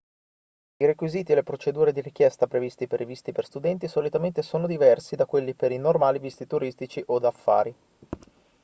i requisiti e le procedure di richiesta previsti per i visti per studenti solitamente sono diversi da quelli per i normali visti turistici o d'affari